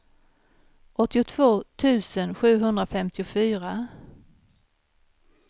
åttiotvå tusen sjuhundrafemtiofyra